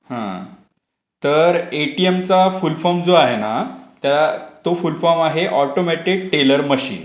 हा तर एटीएमचा फुल फॉर्म जो आहे ना तो फुल फॉर्म आहे ऑटोमॅटिक टेलर मशीन.